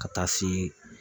Ka taa se